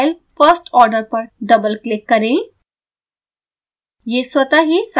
scilab file firstorder पर double click करें